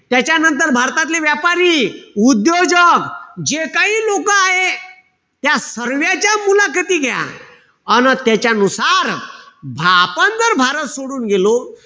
त्याच्यानंतर, भारतातले व्यापारी, उद्योजक, जे काही लोकं आहे. त्या सर्व्याच्या मुलाखती घ्या. अन त्याच्यानुसार आपण जर भारत सोडून गेलो.